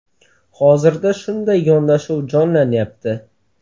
Hozirda shunday yondashuv jonlanyapti.